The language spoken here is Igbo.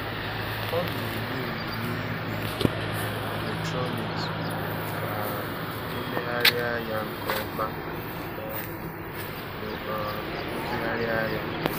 Ọ na-enye onyinye igwe um eletrọnịks ka a e megharịa ya nke ọma ma ọ bụ bụ um rụzigharịa ya.